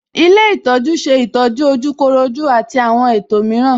Ilé ìtọ́jú ṣe ìtọ́jú ojúkorojú àti àwọn ètò mìíràn